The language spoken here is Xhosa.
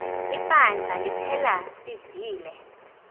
ibandla liphela sivile